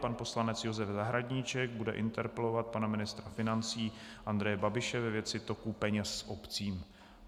Pan poslanec Josef Zahradníček bude interpelovat pana ministra financí Andreje Babiše ve věci toku peněz obcím.